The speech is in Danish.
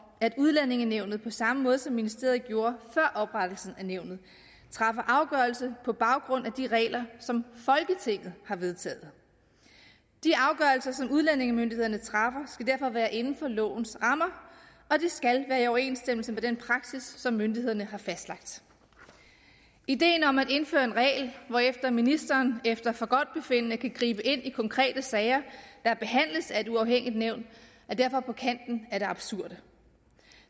at udlændingenævnet på samme måde som ministeriet gjorde før oprettelsen af nævnet træffer afgørelse på baggrund af de regler som folketinget har vedtaget de afgørelser som udlændingemyndighederne træffer skal derfor være inden for lovens rammer og det skal være i overensstemmelse med den praksis som myndighederne har fastlagt ideen om at indføre en regel hvorefter ministeren efter forgodtbefindende kan gribe ind i konkrete sager der behandles af et uafhængigt nævn er derfor på kanten af det absurde